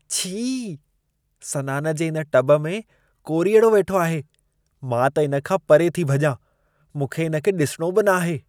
छी! सनान जे इन टब में कोरीअड़ो वेठो आहे। मां त इन खां परे थी भॼां । मूंखे इन खे ॾिसिणो बि नाहे।